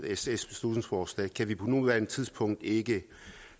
sfs beslutningsforslag kan vi på nuværende tidspunkt ikke